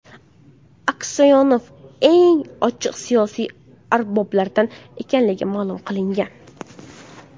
Aksyonov eng ochiq siyosiy arboblardan ekanligi ma’lum qilingan.